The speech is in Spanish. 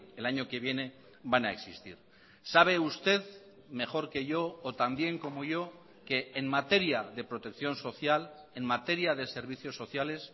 el año que viene van a existir sabe usted mejor que yo o también como yo que en materia de protección social en materia de servicios sociales